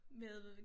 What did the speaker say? Med?